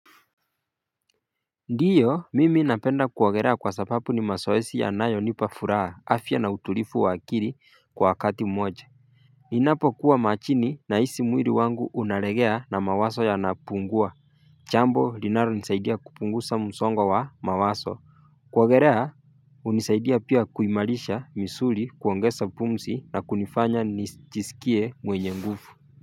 Ndiyo mimi napenda kuogelea kwa sababu ni mazoezi yanayonipa furaha afya na utulivu wa akili kwa wakati mmoja Ninapokuwa majini nahisi mwili wangu unalegea na mawazo yanapungua jambo linalonisaidia kupunguza msongo wa mawazo kuogelea hunisaidia pia kuimarisha misuli kuongeza pumzi na kunifanya nijisikie mwenye nguvu.